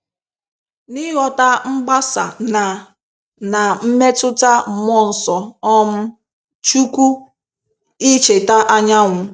N'ịghọta mgbasa na na mmetụta mmụọ nsọ um Chukwu, i cheta anyanwu